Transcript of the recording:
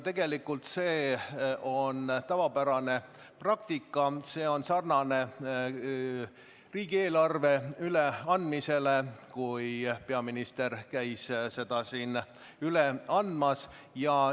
Tegelikult on see tavapärane praktika, see on sarnane riigieelarve üleandmisega, kui peaminister käis seda üle andmas.